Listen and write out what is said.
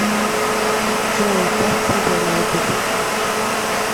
джой паст симпл на ютуб